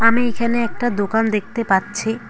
আমি এখানে একটা দোকান দেখতে পাচ্ছি।